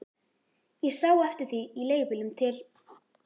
Ég sá eftir því í leigubílnum til